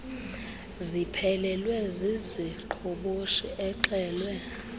ziphelelwe ziziqhoboshi exelwe